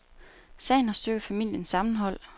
Sagen har styrket familiens sammenhold.